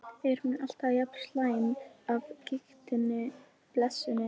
Er hún alltaf jafn slæm af gigtinni, blessunin?